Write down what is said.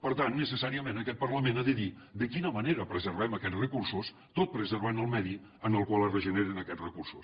per tant necessàriament aquest parlament ha de dir de quina manera preservem aquests recursos tot preservant el medi en el qual es regeneren aquests recursos